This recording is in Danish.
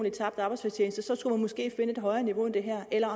i tabt arbejdsfortjeneste så skulle man måske finde et højere niveau end det her eller